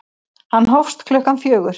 Hann hófst klukkan fjögur.